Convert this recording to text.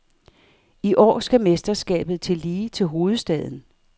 I år skal mesterskabet tilbage til hovedstaden.